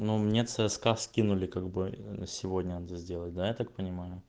но мне цска скинули как бы сегодня сделать да я так понимаю